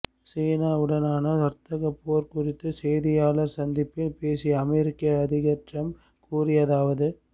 சீனா உடனான வர்த்தகப்போர் குறித்து செய்தியாளர் சந்திப்பில் பேசிய அமெரிக்க அதிபர் டிரம்ப் கூறியதாவது